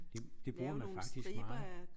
Det det bruger man faktisk meget